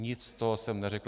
Nic z toho jsem neřekl.